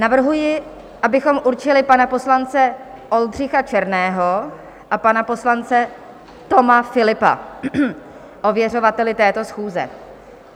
Navrhuji, abychom určili pana poslance Oldřicha Černého a pana poslance Toma Philippa ověřovateli této schůze.